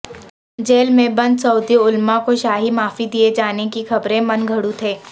jail میں بند Saudi علماء کو شاہی معافی دیے جانے کی خبریں من گھڑت ہیں